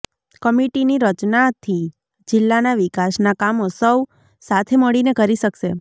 કમિટીની રચનાથી જિલ્લાના વિકાસના કામો સૌ સાથે મળીને કરી શકશે